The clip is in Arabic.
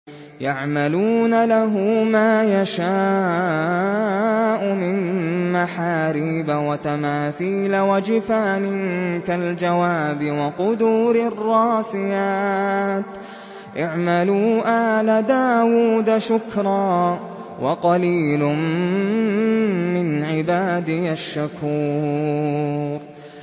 يَعْمَلُونَ لَهُ مَا يَشَاءُ مِن مَّحَارِيبَ وَتَمَاثِيلَ وَجِفَانٍ كَالْجَوَابِ وَقُدُورٍ رَّاسِيَاتٍ ۚ اعْمَلُوا آلَ دَاوُودَ شُكْرًا ۚ وَقَلِيلٌ مِّنْ عِبَادِيَ الشَّكُورُ